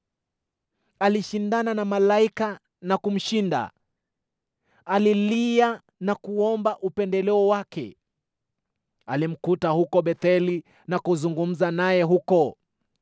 Alishindana na malaika na kumshinda; alilia na kuomba upendeleo wake. Alimkuta huko Betheli na kuzungumza naye huko: